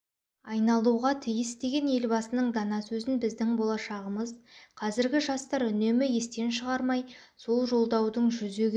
айналуға тиіс деген елбасының дана сөзін біздің болашағымыз-қазіргі жастар үнемі естен шығармай осы жолдаудың жүзеге